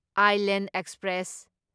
Island express